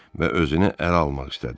Və özünü ələ almaq istədi.